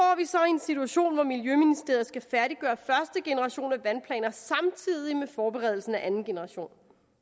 vi så en situation hvor miljøministeriet skal færdiggøre første generation af vandplaner samtidig med forberedelsen af anden generation